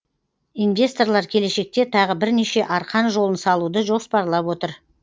инвесторлар келешекте тағы бірнеше арқан жолын салуды жоспарлап отыр